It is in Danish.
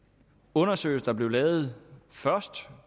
undersøgelser der blev lavet først